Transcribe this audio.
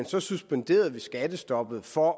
så suspenderede vi skattestoppet for